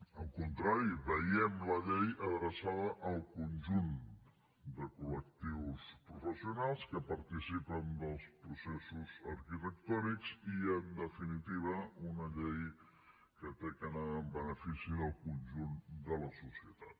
al contrari veiem la llei adreçada al conjunt de col·lectius professionals que participen dels processos arquitectònics i en definitiva una llei que ha d’anar en benefici del conjunt de la societat